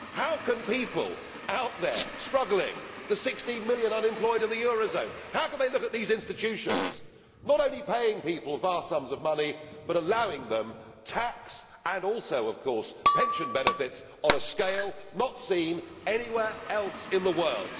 How can people out there struggling the 16 million unemployed in the eurozone look at these institutions not only paying people vast sums of money but allowing them tax and, also of course, pension benefits on a scale not seen anywhere else in the world?